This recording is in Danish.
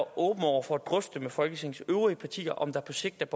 åben over for at drøfte med folketingets øvrige partier om der på sigt